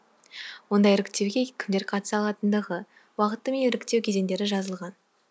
онда іріктеуге кімдер қатыса алатындығы уақыты мен іріктеу кезеңдері жазылған